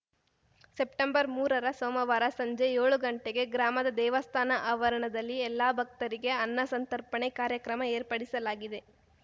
ಸೆಪ್ಟೆಂಬರ್ಮೂರರ ಸೋಮವಾರ ಸಂಜೆ ಯೋಳು ಗಂಟೆಗೆ ಗ್ರಾಮದ ದೇವಸ್ಥಾನ ಆವರಣದಲ್ಲಿ ಎಲ್ಲ ಭಕ್ತರಿಗೆ ಅನ್ನ ಸಂತರ್ಪಣೆ ಕಾರ್ಯಕ್ರಮ ಏರ್ಪಡಿಸಲಾಗಿದೆ